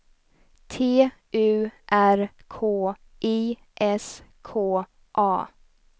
T U R K I S K A